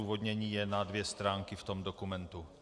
Odůvodnění je na dvě stránky v tom dokumentu.